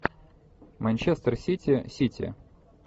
манчестер сити сити